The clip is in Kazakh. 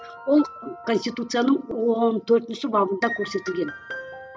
ол конституцияның он төртінші бабында көрсетілген